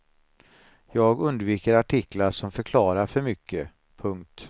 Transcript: Jag undviker artiklar som förklarar för mycket. punkt